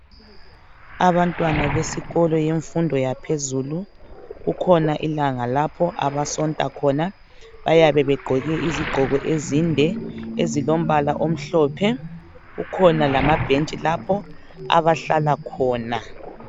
Abantwana besikolo yemfundo yaphezulu, kule langa lapho abasonta khona. Bayabe begqoke izigqoko ezinde ezilombala amhlophe. Kukhona lamabhetshi lapho abahlala khona.